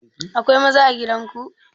Akwai maza a gidan ku?